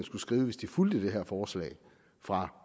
skulle skrive hvis den fulgte det her forslag fra